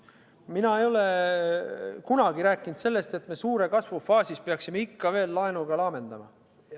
Mina ei ole kunagi rääkinud sellest, et me suure kasvu faasis peaksime ikka veel laenuga laamendama.